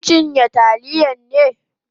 Kin chi taliya ne?